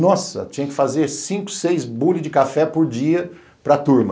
Nossa, tinha que fazer cinco, seis bules de café por dia para turma.